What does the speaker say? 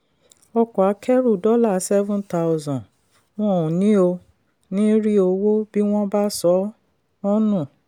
ọkọ̀ akẹ́rù dollar seven thousand wọ́n ò ní ò ní rí owó bí wọ́n bá sọ ọ́ nù.